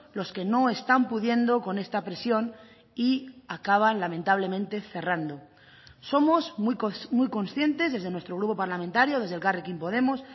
los que no están pudiendo con esta presión y acaban lamentablemente cerrando somos muy conscientes desde nuestro grupo parlamentario desde elkarrekin podemos